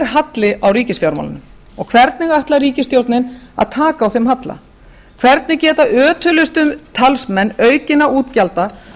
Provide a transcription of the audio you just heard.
halli á ríkisfjármálunum og hvernig ætlar ríkisstjórnin að taka á þeim halla hvernig geta ötulustu talsmenn aukinna útgjalda